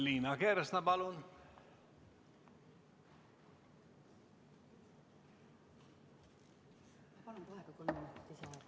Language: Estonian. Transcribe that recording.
Liina Kersna, palun!